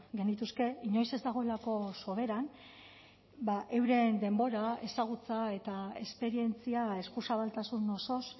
genituzke inoiz ez dagoelako soberan euren denbora ezagutza eta esperientzia eskuzabaltasun osoz